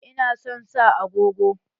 Ina son sa agogo.